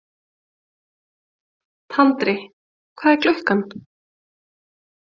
Tandri, hvað er klukkan?